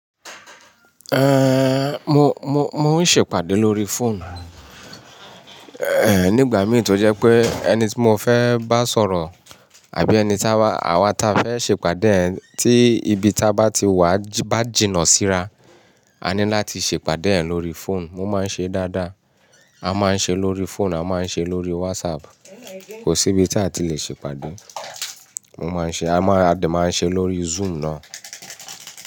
Ehn, mo, mo, mo n ṣe ìpàdé lórí fóònù. Ehn, nígbà mì í tó jẹ pé ẹni tí mo fẹ́ bá sọ̀rọ̀ àbí ẹni táwá, àwa ta fẹ́ ṣe ìpàdé ti ibi tá bá ti wà bá jìnnà síra, a ní láti ṣe ìpàdé ẹ̀ lórí fóònù. Mo máa n ṣe dáadáa. A máa n ṣe lórí fóònù, a máa n ṣe lórí wásapù. Kò sí ibi tí a ti lè ṣe ìpàdé. Mo máa n ṣe, a máa, a dà, máa n ṣe lórí zúùm náà.